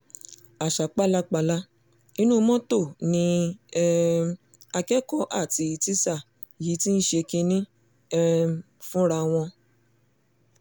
àṣà pálapàla inú mọ́tò ni um akẹ́kọ̀ọ́ àti tíṣà yìí ti ṣe kínní um fúnra wọn